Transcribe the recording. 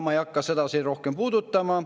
Ma ei hakka seda siin rohkem puudutama.